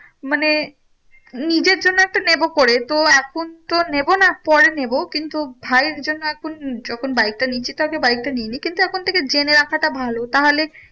মানে নিজের জন্যে একটা নেবো পরে। তো এখন তো নেবো না পরে নেবো। কিন্তু ভাইয়ের জন্য এখন যখন বাইকটা নিচ্ছি, তাহলে বাইকটা নিয়ে নিই। কিন্তু এখন থেকে জেনে রাখাটা ভালো তাহলে